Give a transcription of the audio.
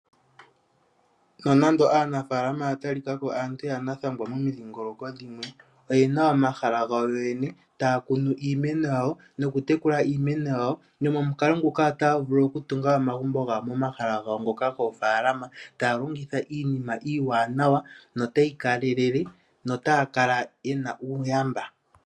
Nonando aanafalama oya talikako aantu yanathangwa momidhingoloko dhimwe oyena omahala gawo yoyene taya kunu iimeno yawo noku tekula iimeno yawo nomukalo nguka otaya vulu okutunga omagumbo gawo momahala gawo ngoka gofalama taya longitha iinima iiwanawa notayi kale lele notaya kala yena uuyamba.